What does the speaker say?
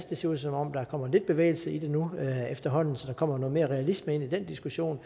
det ser ud som om der kommer lidt bevægelse i det nu efterhånden så der kommer noget mere realisme ind i den diskussion